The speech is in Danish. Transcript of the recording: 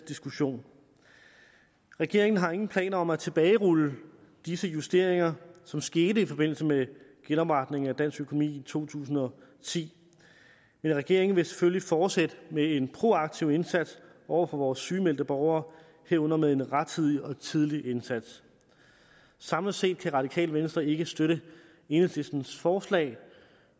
diskussion regeringen har ingen planer om at tilbagerulle disse justeringer som skete i forbindelse med genopretningen af dansk økonomi i to tusind og ti men regeringen vil selvfølgelig fortsætte med en proaktiv indsats over for vores sygemeldte borgere herunder med en rettidig og tidlig indsats samlet set kan det radikale venstre ikke støtte enhedslistens forslag